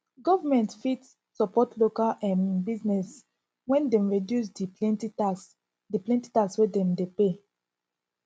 government fit support local um business when dem reduce di plenty tax di plenty tax wey dem de pay